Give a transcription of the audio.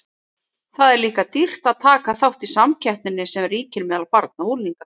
Það er líka dýrt að taka þátt í samkeppninni sem ríkir meðal barna og unglinga.